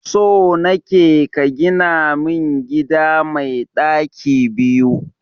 So nake ka gina min gida mai daki biyu.